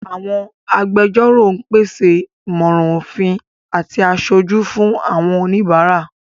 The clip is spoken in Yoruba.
Àwọn agbẹjọ́rò ń pèsè ìmọ̀ràn òfin àti aṣojú fún àwọn oníbàárà.